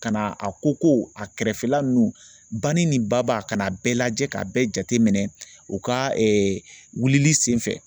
Ka na a koko a kɛrɛfɛla ninnu bani nin baba ka n'a bɛɛ lajɛ k'a bɛɛ jateminɛ u ka wilili sen fɛ